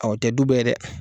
Awɔ o tɛ du bɛɛ ye dɛ.